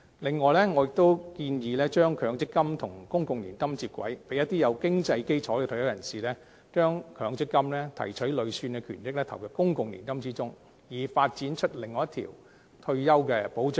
另外，我亦建議把強積金和公共年金接軌，讓有經濟基礎的退休人士提取強積金累算權益投入公共年金之中，以發展出另一條退休保障的道路。